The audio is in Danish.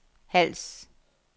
Hals